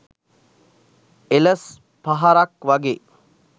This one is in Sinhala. එලස් පහරක් වගෙ